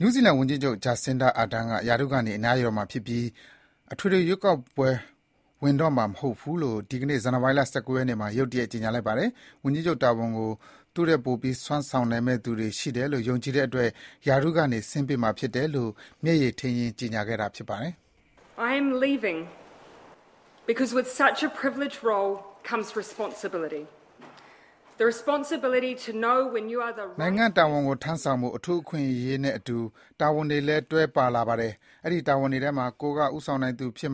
နယူးဇီလန်ဝန်ကြီးချုပ် ဂျက်စင်ဒါ အာဒန် (Jacinda Ardern) က ရာထူးကနေ အနားယူတော့မှာဖြစ်ပြီး အထွေထွေရွေးကောက်ပွဲ ဝငင်တော့မှာ မဟုတ်ဘူးလို့ ဒီကနေ့ ဇန်နဝါရီ ၁၉ ရက်နေ့မှာ ရုတ်တရက် ကြေညာလိုက်ပါတယ်။ ဝန်ကြီးချုပ်တာဝန်ကို သူထက်ပိုပြီး စွမ်းဆောင်နိုင်မယ့်သူတွေ ရှိတယ်လို့ ယုံကြည်တဲ့အတွက် ရာထူးကနေ ဆင်းပေးမှာဖြစ်တယ်လို့ မျက်ရည်ထိန်းရင်း ကြေညာခဲ့တာဖြစ်ပါတယ်။ နိုင်ငံ့တာဝန်ထမ်းဆောင်ဖို့ အထူးအခွင့်အရေးနဲ့အတူ တာဝန်တွေလည်း တွဲပါလာပါတယ်။ အဲဒီတာဝန်တွေထဲမှာ ကိုယ်က ဦးဆောင်နိုင်သူဖြစ်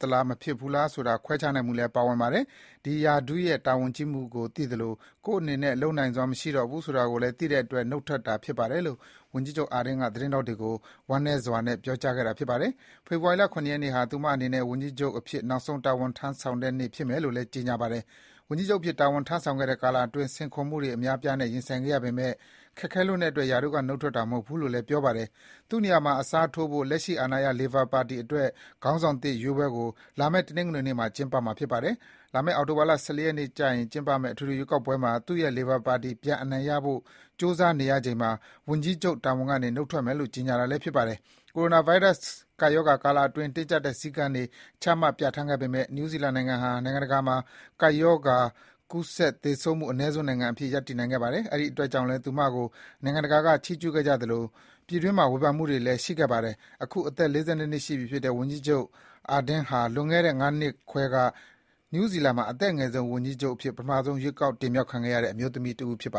သလား မဖြစ်သလား ဆိုတာ ခွဲခြားနိုင်မှုလည်းပါဝင်ပါတယ်။ ဒီရာထူးရဲ့ တာဝန်ကြီးမှုကို သိသလို ကိုယ့်အနေနဲ့ လုပ်နိုင်စွမ်း မရှိတော့ဘူးဆိုတာကိုလည်း သိတဲ့အတွက် နှုတ်ထွက်တာဖြစ်ပါတယ်လို့ ဝန်ကြီးချုပ်အာဒန်က သတင်းထောက်တွေကို ဝမ်းနည်းစွာနဲ့ ပြောကြားခဲ့တာဖြစ်ပါတယ်။ ဖေဖော်ဝါရီလ ၇ ရက်နေ့ဟာ သူမအနေနဲ့ ဝန်ကြီးချုပ်အဖြစ် နောက်ဆုံး တာဝန်ထမ်းဆောင်တဲ့နေ့ဖြစ်မယ်လို့လည်း ကြေညာခဲ့ပါတယ်။ ဝန်ကြီးချုပ်အဖြစ် တာဝန်ထမ်းဆောင်ခဲ့တဲ့ ကာလအတွင်း စိန်ခေါ်မှုတွေအများအပြားနဲ့ ရင်ဆိုင်ခဲ့ရပေမယ့် ခက်ခဲလွန်းတဲ့အတွက် ရာထူးက နှုတ်ထွက်တာ မဟုတ်ဘူးလို့လည်း ပြောကြားပါတယ်။ သူ့နေရာမှာ အစားထိုးဖို့ လက်ရှိအာဏာရ Labour ပါတီအတွက်ခေါင်းဆောင်သစ်ရွေးပွဲကို လာမယ့် တနင်္ဂနွေနေ့မှာ ကျင်းပမှာဖြစ်ပါတယ်။ လာမယ့် အောက်တိုဘာ ၁၄ ရက်ကျရင်ကျင်းပမယ့် အထွေထွေရွေးကောက်ပွဲမှာ သူ့ရဲ့ Labour ပါတီ ပြန်အနိုင်ရဖို့ ကြိုးစာနေရချိန်မှာ ဝန်ကြီးချုပ်တာဝန်ကနေ နှုတ်ထွက်မယ်လို့ ကြေညာတာလည်းဖြစ်ပါတယ်။ ကိုရိုနာဗိုင်းရပ် ကပ်ရောဂါကာလအတွင်း တင်းကြပ်တဲ့ စည်းကမ်းတွေ ချမှတ်ပြဌာန်းခဲ့ပေမယ့် နယူးဇီလန်နိုင်ငံဟာ နိုင်ငံတကာမှာ ကိုဗစ်ကပ်ရောဂါ ကူးစက်၊ သေဆုံးမှုအနည်းဆုံးနိုင်ငံအဖြစ် ရပ်နိုင်ခဲ့ပါတယ်။ အဲဒီအတွက်ကြောင့်လည်း သူမကို နိုင်ငံတကာက ချီးကျူးခဲ့ကြသလို ပြည်တွင်းမှာ ဝေဖန်မှုတွေလည်း ရှိခဲ့ပါတယ်။ အခု အသက် ၄၂ နှစ်ရှိပြီဖြစ်တဲ့ ဝန်ကြီးချုပ်ဂျက်စင်ဒါ အာဒန်ဟာ လွန်ခဲ့တဲ့ ၅ နှစ်ခွဲက နယူးဇီလန်မှာ အသက်အငယ်ဆုံး ဝန်ကြီးချုပ်အဖြစ် ပထမဆုံး ရွေးကောက်တင်မြောက်ခံရတဲ့ အမျိုးသမီးတဦးဖြစ်ပ